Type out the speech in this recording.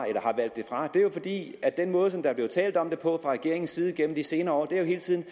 er jo at den måde der er blevet talt om det på fra regeringens side igennem de senere år hele tiden